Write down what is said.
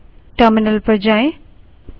up arrow